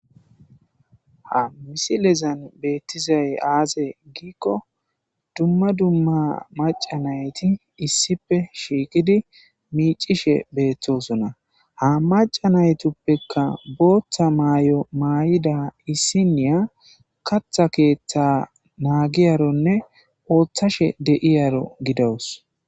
Ha misilezan betizays azegidaysa gidiko duma duma maca natiy issipe shiqidi micishe betosona ha maca natupeka botha mayo mayida issiny katha ketha nageyaron othashedizaro gida'us